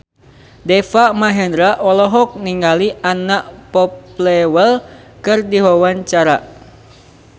Deva Mahendra olohok ningali Anna Popplewell keur diwawancara